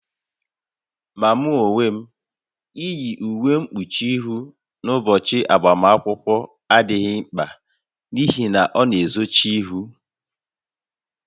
Ma mụ onwe m, iyi uwe mkpuchi ihụ n'ụbọchị agbamakwụkwọ adịghị mkpa n'ihi na ọ na-ezochi ihu